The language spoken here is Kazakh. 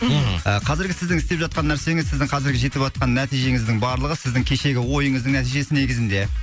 мхм ы қазіргі сіздің істеп жатқан нәрсеңіз сіздің қазіргі жетіватқан нәтижеңіздің барлығы сіздің кешегі ойыңыздың нәтижесі негізінде